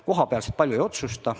Kohapealsed palju ei otsusta.